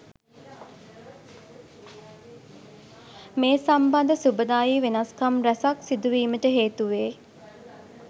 මේ සම්බන්ධ සුභදායි වෙනස්කම් රැසක් සිදු වීමට හේතු වේ.